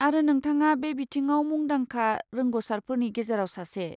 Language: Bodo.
आरो, नोंथाङा बे बिथिङाव मुंदांखा रोंग'सारफोरनि गेजेराव सासे।